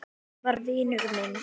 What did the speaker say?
Hún var vinur minn.